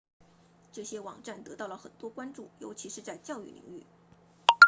这些网站得到了很多关注尤其是在教育领域